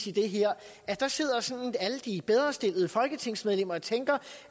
i det her at der sidder alle de bedrestillede folketingsmedlemmer og tænker